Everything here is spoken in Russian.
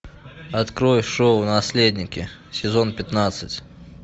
открой шоу наследники сезон пятнадцать